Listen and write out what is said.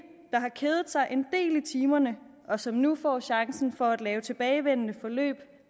der har kedet sig en del i timerne og som nu får chancen for at lave tilbagevendende forløb